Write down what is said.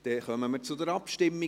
Somit kommen wir zur Abstimmung.